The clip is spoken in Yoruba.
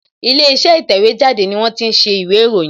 Ilé iṣẹ́ ìtẹ̀wẹ́ jáde ni wón ti ń ṣe ìwé ìròyìn